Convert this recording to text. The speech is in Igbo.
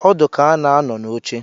Ọdụ ka a na-anọ n'oche